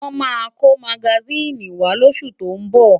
Màá kó magasíìnì wá lóṣù tó ń bọ̀.